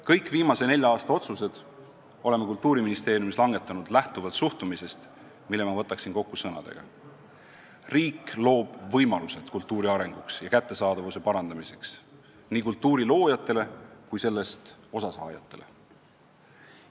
Kõik viimase nelja aasta otsused oleme Kultuuriministeeriumis langetanud lähtuvalt suhtumisest, mille ma võtaksin kokku järgmiste sõnadega: riik loob võimalused kultuuri arenguks ja kättesaadavuse parandamiseks, seda nii kultuuri loojatele kui ka sellest osa saajatele.